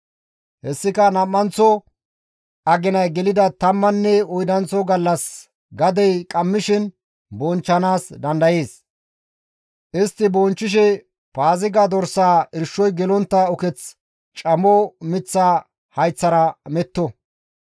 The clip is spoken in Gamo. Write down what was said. Hessika nam7anththo aginay gelida tammanne oydanththo gallas gadey qammishin bonchchanaas dandayees; istti bonchchishe Paaziga dorsaa irshoy gelontta uketh camo miththa hayththara meto.